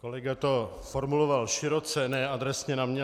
Kolega to formulovat široce, ne adresně na mě.